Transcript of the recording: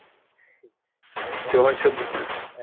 तेव्हा शोधलं.